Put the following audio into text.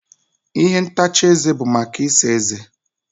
ihe ntacha eze bụ maka ịsa ezé